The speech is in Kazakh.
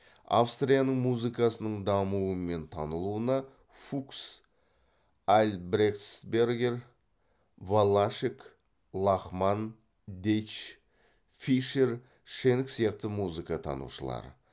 австрияның музыкасының дамуы мен танылуына фукс альбрехтсбергер валлашек лахман дейч фишер шенк сияқты музыка танушылар